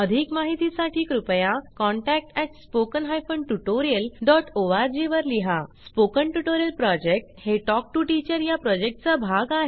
अधिक माहितीसाठी कृपया contact at spoken hyphen tutorial dot org वर लिहा स्पोकन ट्युटोरियल प्रॉजेक्ट हे टॉक टू टीचर या प्रॉजेक्टचा भाग आहे